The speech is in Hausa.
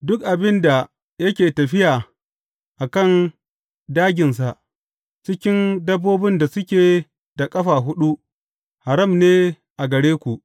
Duk abin da yake tafiya a kan dāginsa cikin dabbobin da suke da ƙafa huɗu, haram ne a gare ku.